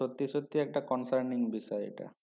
সত্যি সত্যি concerning বিষয় এটা